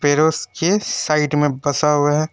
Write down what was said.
पेड़ोस के साइड में बंसा हुआ है।